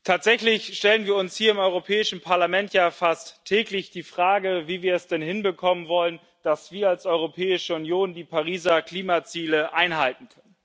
Tatsächlich stellen wir uns hier im Europäischen Parlament ja fast täglich die Frage, wie wir es denn hinbekommen wollen, dass wir als Europäische Union die Pariser Klimaziele einhalten.